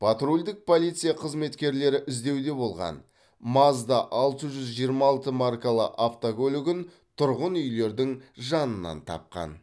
патрульдік полиция қызметкерлері іздеуде болған мазда алты жүз жиырма алты маркалы автокөлігін тұрғын үйлердің жанынан тапқан